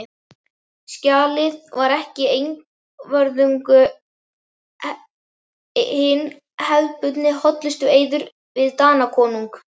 Skjalið var ekki einvörðungu hinn hefðbundni hollustueiður við Danakonung.